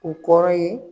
U kɔrɔ ye